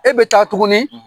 E bɛ taa tuguni